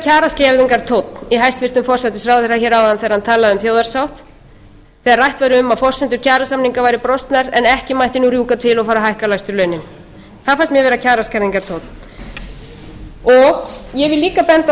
kjaraskerðingartónn í hæstvirtur forsætisráðherra hér áðan þegar hann talaði um þjóðarsátt þegar rætt var um að forsendur kjarasamninga væru brostnar en ekki mætti rjúka til og fara að hækka lægstu launin það fannst mér vera kjaraskerðingartónn ég vil líka benda á